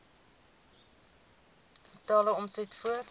totale omset voor